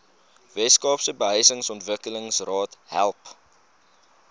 weskaapse behuisingsontwikkelingsraad help